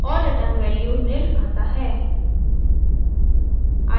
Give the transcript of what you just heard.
और return value nil आता है